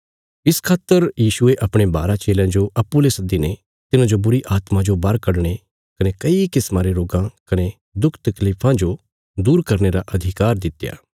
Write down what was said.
इस खातर यीशुये अपणे बारा चेलयां जो अप्पूँ ले सद्दीने तिन्हांजो बुरीआत्मा जो बाहर कडणे कने कई किस्मा रे रोगां कने दुख तकलीफां जो दूर करने रा अधिकार दित्या